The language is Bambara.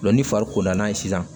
ni fari kolan ye sisan